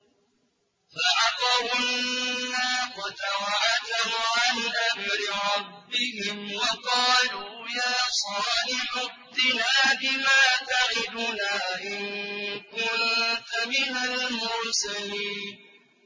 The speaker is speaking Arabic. فَعَقَرُوا النَّاقَةَ وَعَتَوْا عَنْ أَمْرِ رَبِّهِمْ وَقَالُوا يَا صَالِحُ ائْتِنَا بِمَا تَعِدُنَا إِن كُنتَ مِنَ الْمُرْسَلِينَ